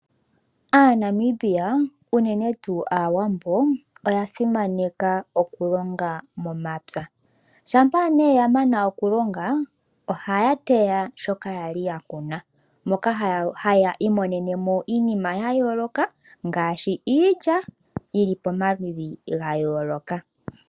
AaNamibia, unene tuu aawambo oya simaneka oku longa momapya. Shampa nee ya mana oku longa ohaya teya shoka ya li ya kuna moka haya imonene mo iinima ya yooloka ngaashi iilya yili pomaludhi ga yooloka.